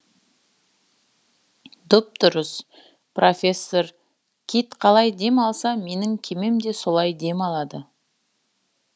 дұп дұрыс профессор кит қалай дем алса менің кемем де солай дем алады